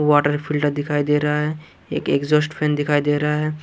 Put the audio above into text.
Water filter दिखाई दे रहा हैं एक एक्जॉस्ट फैन दिखाई दे रहा हैं।